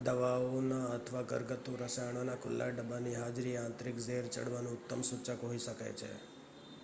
દવાઓના અથવા ઘરગથ્થુ રસાયણોના ખુલ્લા ડબ્બાની હાજરી એ આંતરિક ઝેર ચડવાનું ઉત્તમ સૂચક હોઈ શકે છે